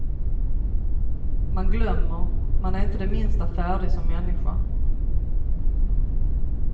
Man glömmer, man är inte det minsta färdig som människa.